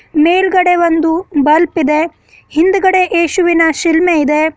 ಮೇಲ್ಗಡೆ ಒಂದು ಬಲ್ಬ್ ಇದೆ ಹಿಂದುಗಡೆ ಯೇಸುವಿನ ಶಿಲ್ಮೆ ಇದೆ.